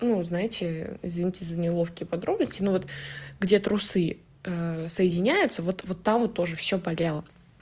ну знаете извините за неловкие подробности но вот где трусы соединяются вот вот там тоже всё болело